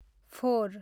four